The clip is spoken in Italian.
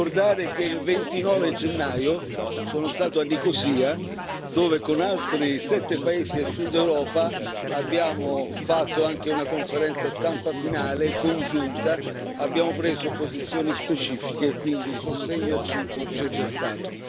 Vorrei ricordare che il 29 gennaio sono stato a Nicosia, dove con altri sette paesi del Sud Europa abbiamo fatto anche una conferenza stampa finale congiunta, abbiamo preso posizioni specifiche e quindi il sostegno a Cipro c'è già stato.